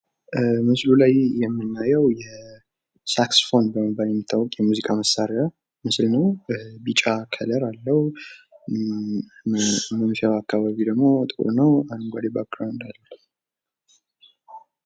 ምስሉ ላይ የምናየው ሳክስፎን በመባል የሚታወቅ የሙዚቃ መሳሪያ ምስል ነው። ቢጫ ከለር አለው። መምቻው አካባቢ ደግሞ ጥሩ ነው። አረንጓዴ ባክግራውንድ አለው።